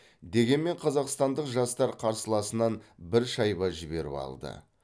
дегенмен қазақстандық жастар қарсыласынан бір шайба жіберіп алды